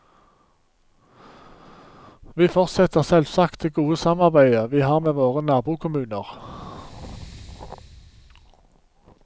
Vi fortsetter selvsagt det gode samarbeidet vi har med våre nabokommuner.